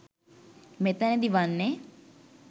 මෙතැනදී වන්නේ